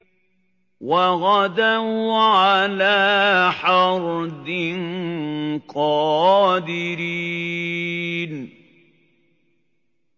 وَغَدَوْا عَلَىٰ حَرْدٍ قَادِرِينَ